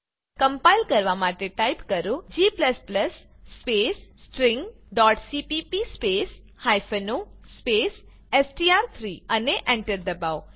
compile કરવા માટે type કરો g સ્પેસ stringસીપીપી સ્પેસ o સ્પેસ એસટીઆર3 અને એન્ટર દબાવો